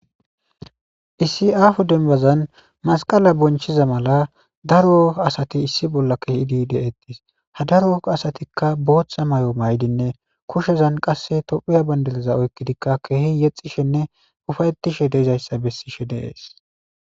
Issi aho demban masqala bonchiza mala daro asati issi bolla shiqida ha daro asatika botha mayo mayidinne kushezan qasi tophiya bandira oyiqidi kehi yexishenne ufayixishe dizayisa beses